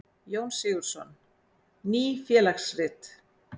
Jón Sigurðsson: Ný félagsrit.